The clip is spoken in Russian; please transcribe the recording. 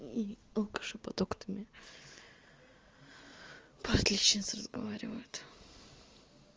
и алкаши под окнами по отличнице разговаривают